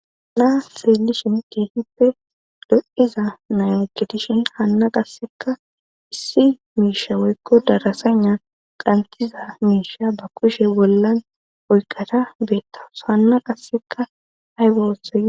Na'a seelishin keehippe do'iza nayokedishin hanna qasseka issi miisha weykko darasana qamtiza miisha ba kushe bollan oyqata beettaws hanna qasseka haybose.